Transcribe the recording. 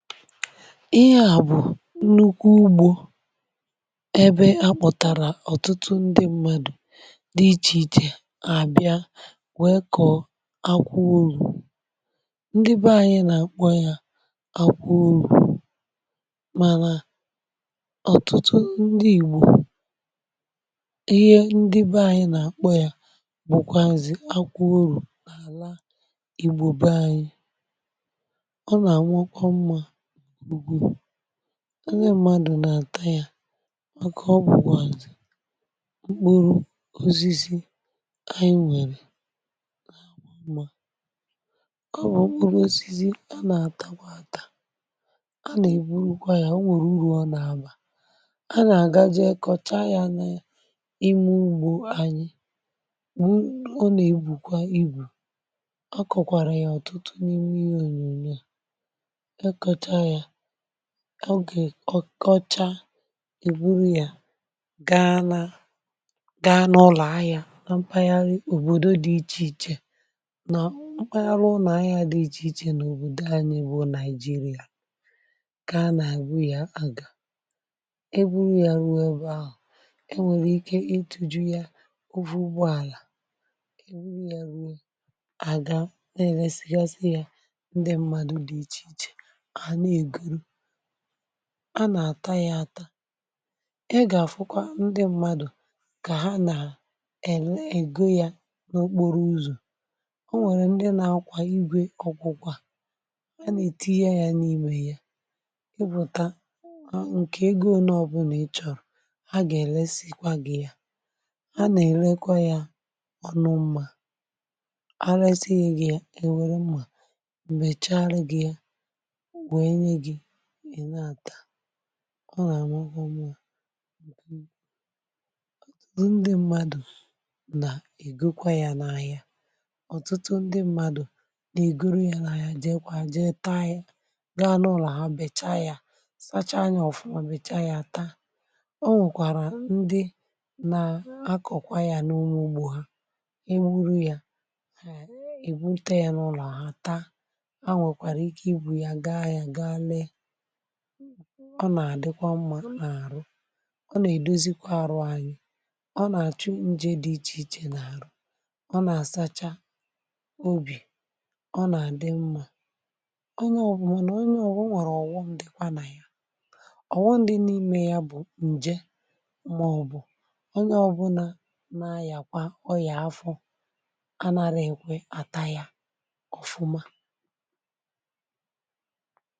Ihe à bụ nnukwu ugbȯ, ebe akpọ̀tàrà ọ̀tụtụ ndị mmadụ̀ dị ichè ichè àbịa wee kọ̀ọ akwụorù ndị bẹ ȧnyị̇ nà-àkpọ ya akwụorù, mànà ọ̀tụtụ ndị igbò ihe ndị bẹ ȧnyị̇ nà-àkpọ ya bụ̀kwazị̀ akwụorù, n’àla igbò be anyị̇ ọ nà anwụkọ mma ndị̇ mmadù nà-àta ya màkà ọ bùkwa mkpụrụ osisi ànyị̇ nwèrè ọ bụrụ osisi a nà-atakwa ata a nà-ègburu kwa ya o nwèrè urù ọ nà-abà a nà-àga jee kọcha ya nà ime ugbȯ ànyị̇ bụ̀ ọ nà egbùkwa ibù ọ kọ̀kwàrà ya ọ̀tụtụ n’ime ònyònyò ọ gè ọkocha e buru ya gaa nà gaa n’ụlọ̀ ahịa mpaghara òbòdo dị ichè ichè nà mpaghara ụlọ̀ ahịa dị ichè ichè n’òbòdò anyị bụ nàịjirịa gaa nà ebu ya àga e buru ya ruo bụ ahụ̀ e nwèrè ike itu̇ju̇ ya ụgwụ̀ ụgbọàlà e buru ya ruo àga na-eresigasị ya ndị mmadụ̇ dị ichè ichè ha nà-ego a na àta ya ata, i gà-àfụkwa ndị mmadụ̀ kà ha nà-èle egȯ ya n’okporo uzù o nwèrè ndị na-akwà igwė ọkwụkwọ, a nà-ètinye ya n’imė ya i bùta ǹkè ego ole ọ bụ̀ nà ịchọ̀rọ̀ ha gà-èlesikwa gị ya ha nà-èlekwa ya ọ̀nụmmà a resighị ya gị ya è nwere mmà m̀mèchara gị ya wee nye gi i na-ata ọ nà-àmakwa mma otutu ndị mmadụ̀ nà egokwa ya n’ahịa ọtụtụ ndị mmadụ̀ nà-ègoro ya n’ahịa jee kwà jee taa ya gaa n’ụlọ̀ ha becha ya sacha anya ọ̀fụma becha ya ata o nwèkwàrà ndị na-akọ̀kwa ya n’onwe ugbȯ ha e buru ya e bupute ya n'ulo ha taa ha nwekwara ike iburu ya gaa n'ulo ahia gaa ree ọ nà-àdịkwa mmȧ n’àrụ ọ nà-èdozikwa arụ anyi ọ nà-àchụ nje dị ichè ichè n’àrụ ọ nà-àsacha obì ọ nà-àdị mmȧ um o nwèrè ọ̀wọmụ̀ dikwa nà ya ọ̀wọmụ̀ dị n’ime ya bụ̀ ǹje m̀mọọbụ̀ onye ọbụla n’ayàkwa ọ yà afọ anara èkwe àta ya ọ̀fụma